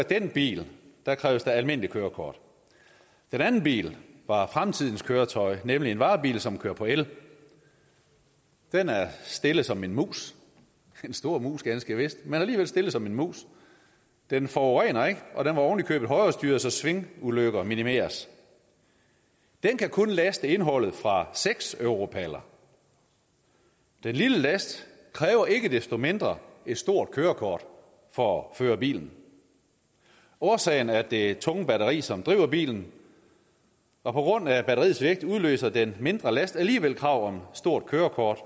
den bil kræves der almindeligt kørekort den anden bil var fremtidens køretøj nemlig en varebil som kører på el den er stille som en mus en stor mus ganske vist men alligevel stille som en mus den forurener ikke og den var ovenikøbet højrestyret så svingulykker minimeres den kan kun laste indholdet fra seks europaller den lille last kræver ikke desto mindre et stort kørekort for at føre bilen årsagen er det tunge batteri som driver bilen og på grund af batteriets vægt udløser den mindre last alligevel krav om stort kørekort